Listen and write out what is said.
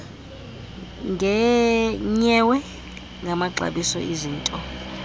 nyewe ngamaxabiso ezinto